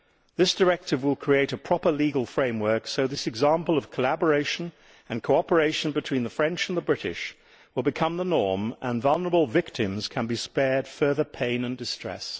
This directive will create a proper legal framework, so this example of collaboration and cooperation between the French and the British will become the norm, and vulnerable victims can be spared further pain and distress.